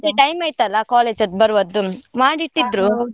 ಅದೇ time ಆಯ್ತಲ್ಲ college ಅದ್ದು ಬರುವದ್ದು .